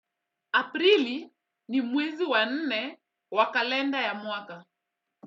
Aprili ni mwezi wa nne wa kalenda ya mwaka.